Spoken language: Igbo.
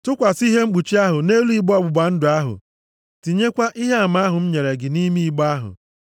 Tụkwasị ihe mkpuchi ahụ nʼelu igbe ọgbụgba ndụ ahụ. Tinyekwa Ihe Ama ahụ m nyere gị nʼime igbe ahụ.